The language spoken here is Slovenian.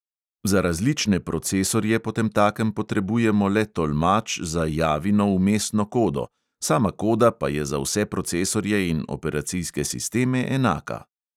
Za različne procesorje potemtakem potrebujemo le tolmač za javino vmesno kodo, sama koda pa je za vse procesorje in operacijske sisteme enaka.